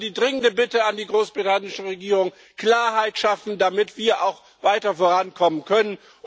Also die dringende Bitte an die britische Regierung Klarheit schaffen, damit wir auch weiter vorankommen können!